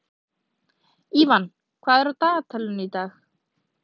Ívan, hvað er á dagatalinu í dag?